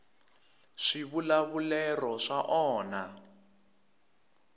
swivulavulero swa onha